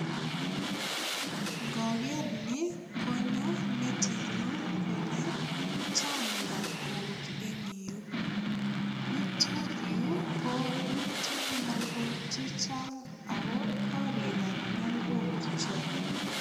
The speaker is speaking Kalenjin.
Ngoker ni konyo metinyu kole chang nyalkok en yu. Yutok yu komito nyalkok chechang ago korikab nyalkok cho.